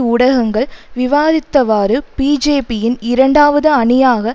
ஊடகங்கள் விவாரித்தவாறு பிஜேபியின் இரண்டாவது அணியாக